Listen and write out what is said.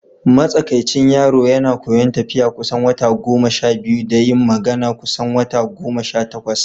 Matsakaicin yaro yana koyon tafiya kusan wata goma sha biyu da yin magana kusan wata goma sha takwas.